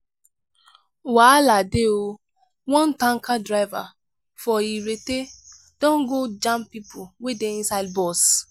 wahala dey o! one tanker driver for irete don go jam pipo wey dey inside bus.